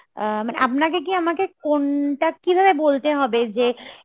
আ~ মানে আপনাকে কি আমাকে কোনটা কিভাবে বলতে হবে যে